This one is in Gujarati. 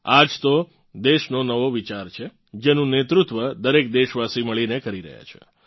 આ જ તો દેશનો નવો વિચાર છે જેનું નેતૃત્વ દરેક દેશવાસી મળીને કરી રહ્યાં છે